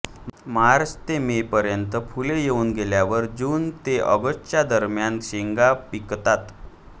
मार्च ते मेपर्यंत फुले येऊन गेल्यावर जून ते ऑगस्टच्या दरम्यान शेंगा पिकतात